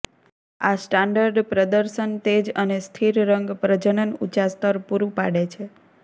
આ સ્ટાન્ડર્ડ પ્રદર્શન તેજ અને સ્થિર રંગ પ્રજનન ઊંચા સ્તર પૂરું પાડે છે